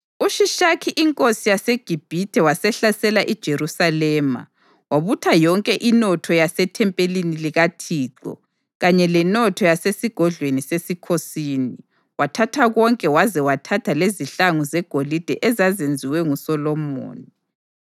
UShishakhi inkosi yaseGibhithe wasehlasela iJerusalema, wabutha yonke inotho yasethempelini likaThixo kanye lenotho yasesigodlweni sesikhosini. Wathatha konke waze wathatha lezihlangu zegolide ezazenziwe nguSolomoni.